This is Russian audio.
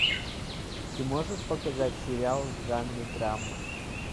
ты можешь показать сериал в жанре драма